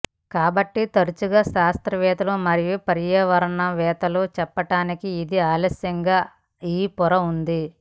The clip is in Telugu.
కాబట్టి తరచుగా శాస్త్రవేత్తలు మరియు పర్యావరణవేత్తలు చెప్పటానికి ఇది ఆలస్యంగా ఈ పొర ఉంది